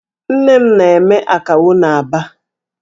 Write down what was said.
Nne m na-eme Akawo n'Aba.